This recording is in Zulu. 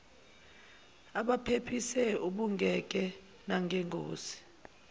abaphephise ubengeke nangengozi